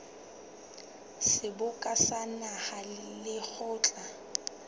seboka sa naha le lekgotla